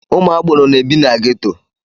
Ụmụ agboro n'ebi na ghetto.